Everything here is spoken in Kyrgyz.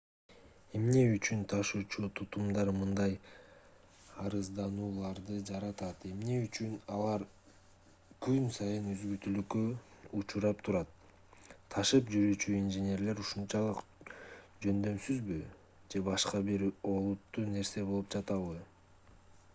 эмне үчүн ташуучу тутумдар мындай арызданууларды жаратат эмне үчүн алар күн сайын үзгүлтүүккө учурап турат ташып жүрүүчү инженерлер ушунчалык жөндөмсүзбү же башка бир олуттуу нерсе болуп жатабы